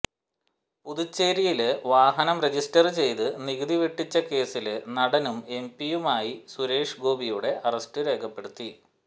പുതുച്ചേരിയില് വാഹനം രജിസ്റ്റര് ചെയ്ത് നികുതി വെട്ടിച്ച കേസില് നടനും എംപിയുമായി സുരേഷ് ഗോപിയുടെ അറസ്റ്റ് രേഖപ്പെടുത്തി